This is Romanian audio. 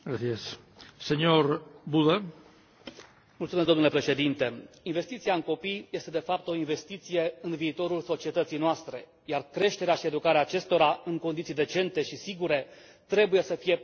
Domnule președinte, investiția în copii este, de fapt, o investiție în viitorul societății noastre, iar creșterea și educarea acestora, în condiții decente și sigure, trebuie să fie permanent în atenția tuturor, indiferent unde se află.